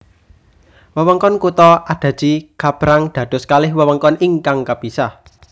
Wewengkon kutha Adachi kapérang dados kalih wewengkon ingkang kapisah